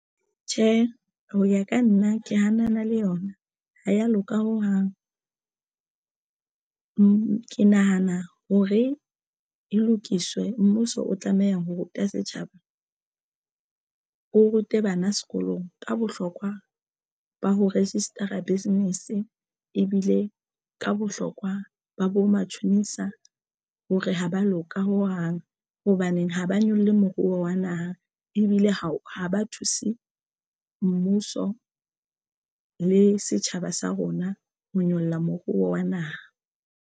Tjhe, ho ya ka nna ke hanana le yona ha ya loka ho hang ke nahana hore e lokiswe. Mmuso o tlameha ho ruta setjhaba o rute bana sekolong ka bohlokwa ba ho register-a business ebile ka bohlokwa ba bo matjhonisa hore ha ba loka ho hang hang. Hobaneng ha ba nyolle moruo wa naha ebile ha ha ba thuse mmuso le setjhaba sa rona ho nyolla moruo wa naha.